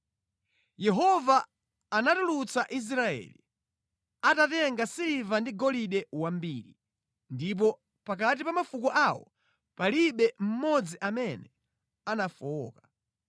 Yehova anatulutsa Israeli, atatenga siliva ndi golide wambiri, ndipo pakati pa mafuko awo palibe mmodzi amene anafowoka.